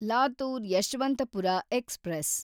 Latur Yeshwantpur express